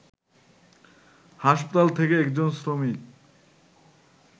হাসপাতাল থেকে একজন শ্রমিক